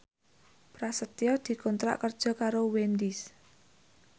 Prasetyo dikontrak kerja karo Wendys